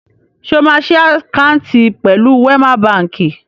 Ṣé o máa ṣí àkáǹtì pẹ̀lú Wẹ́má baǹkì?